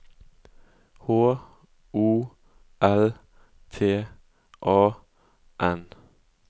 H O L T A N